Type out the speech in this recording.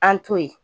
An to yen